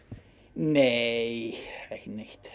nei ekki neitt